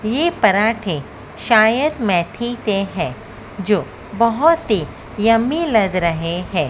के परांठे शायद मेथी के है जो बहुत ही यम्मी लग रहे हैं।